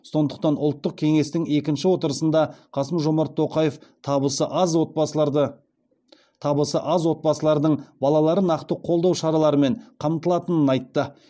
сондықтан ұлттық кеңестің екінші отырысында қасым жомарт тоқаев табысы аз отбасылардың балалары нақты қолдау шараларымен қамтылатынын айтты